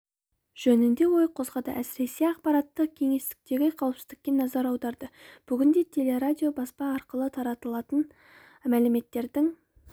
жөнінде ой қозғады әсіресе ақпараттық кеңістіктегі қауіпсіздікке назар аударды бүгінде теле-радио баспа арқылы таратылатын мәліметтердің